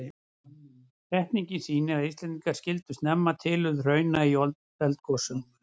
Setningin sýnir að Íslendingar skildu snemma tilurð hrauna í eldgosum.